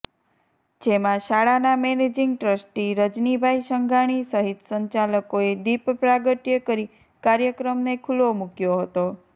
જેમાં શાળાના managing trustee Rajnibhai Sanghani સહિત સંચાલકોએ દિપ પ્રાગટય કરી કાર્યક્રમને ખુલ્લો મુકયો હતો